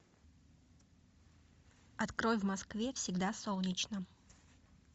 открой в москве всегда солнечно